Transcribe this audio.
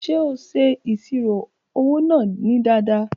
Ṣe o ṣe iṣiro owo naa ni dada?